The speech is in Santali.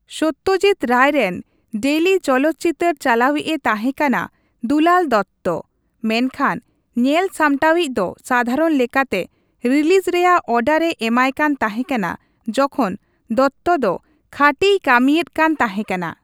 ᱥᱚᱛᱛᱚᱡᱤᱛ ᱨᱟᱭ ᱨᱮᱱ ᱰᱮᱭᱞᱤ ᱪᱚᱞᱚᱛ ᱪᱤᱛᱟᱹᱨ ᱪᱟᱞᱟᱣᱤᱡᱼᱮ ᱛᱟᱦᱮᱸᱠᱟᱱᱟ ᱫᱩᱞᱟᱞ ᱫᱚᱛᱛᱚ, ᱢᱮᱱ ᱠᱷᱟᱱ ᱧᱮᱞ ᱥᱟᱢᱴᱟᱣᱤᱡ ᱫᱚ ᱥᱟᱫᱷᱟᱨᱚᱱ ᱞᱮᱠᱟᱛᱮ ᱨᱤᱞᱤᱡ ᱨᱮᱭᱟᱜ ᱚᱨᱰᱟᱨᱼᱮ ᱮᱢᱟᱭᱠᱟᱱ ᱛᱟᱦᱮᱸᱠᱟᱱᱟ ᱡᱚᱠᱷᱚᱱ ᱫᱚᱛᱛᱚ ᱫᱚ ᱠᱷᱟᱹᱴᱤᱭ ᱠᱟᱹᱢᱤᱭᱮᱫ ᱠᱟᱱ ᱛᱟᱦᱮᱸᱠᱟᱱᱟ ᱾